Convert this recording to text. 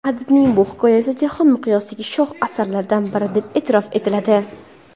Adibning bu hikoyasi jahon miqyosida shoh asarlardan biri deb e’tirof etiladi.